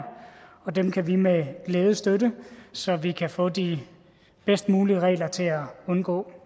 og dem kan vi med glæde støtte så vi kan få de bedst mulige regler til at undgå